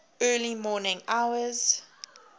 early morning hours